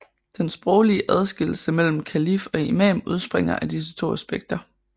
Den sproglige adskillelse mellem kalif og imam udspringer af disse to aspekter